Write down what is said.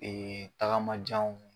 tagamajanw